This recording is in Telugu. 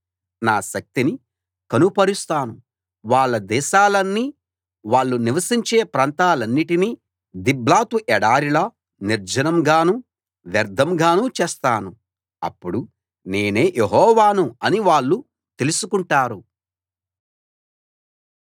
నా శక్తిని కనుపరుస్తాను వాళ్ళ దేశాన్నీ వాళ్ళు నివసించే ప్రాంతాలన్నిటినీ దిబ్లాతు ఎడారిలా నిర్జనం గానూ వ్యర్ధంగానూ చేస్తాను అప్పుడు నేనే యెహోవాను అని వాళ్లు తెలుసుకుంటారు